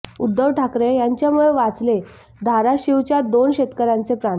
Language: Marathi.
उद्धव ठाकरे यांच्यामुळे वाचले धाराशीवच्या दोन शेतकऱ्यांचे प्राण